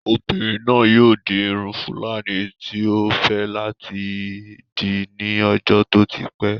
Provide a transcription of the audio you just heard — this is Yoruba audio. Obinrin naa yoo di irun fúlàní tí ó fẹ́ láti dì ní ọjọ́ tó ti pẹ́